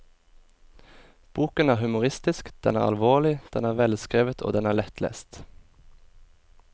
Boken er humoristisk, den er alvorlig, den er velskrevet og den er lettlest.